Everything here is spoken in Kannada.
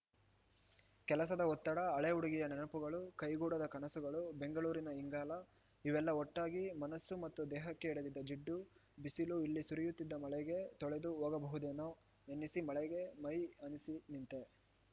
ಕೆಲಸದ ಒತ್ತಡ ಹಳೆ ಹುಡುಗಿಯ ನೆನಪುಗಳು ಕೈಗೂಡದ ಕನಸುಗಳು ಬೆಂಗಳೂರಿನ ಇಂಗಾಲ ಇವೆಲ್ಲ ಒಟ್ಟಾಗಿ ಮನಸ್ಸು ಮತ್ತು ದೇಹಕ್ಕೆ ಹಿಡಿದಿದ್ದ ಜಿಡ್ಡು ಬಿಸಿಲು ಇಲ್ಲಿ ಸುರಿಯುತ್ತಿದ್ದ ಮಳೆಗೆ ತೊಳೆದು ಹೋಗಬಹುದೇನೋ ಎನ್ನಿಸಿ ಮಳೆಗೆ ಮೈ ಆನಿಸಿ ನಿಂತೆ